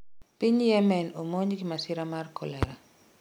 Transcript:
piny Yemen omonj gi masira mar kolera